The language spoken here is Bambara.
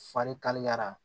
Farikaliya